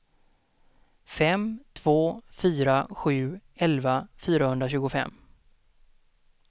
fem två fyra sju elva fyrahundratjugofem